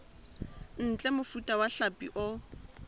ntle mofuta wa hlapi o